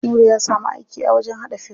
Nura ya samu aiki a wajen haɗa fim.